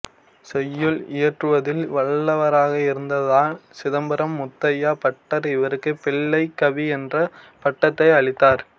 செய்யுள் இயற்றுவதில் வல்லவராக இருந்ததால் சிதம்பரம் முத்தையா பட்டர் இவருக்கு பிள்ளைக்கவி என்ற பட்டத்தை அளித்தார்